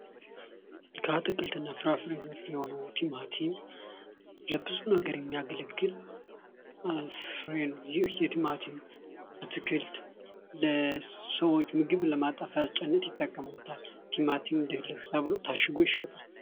ከአትክልትና ፍራፍሬዎች ዘርፍ የሆነው ቲማቲም ለብዙ ነገር የሚያግለግል ፍሬ ነው። ይህ የቲማቲም ፣አትክልት ለሰዎች ምግብ ለማጣፈጫነት ይጠቀሙበታል። ቲማቲም ድልህ ተብሎ ታሽጎ ይሸጣል።